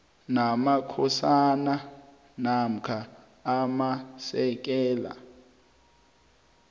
namakhosana namkha amasekela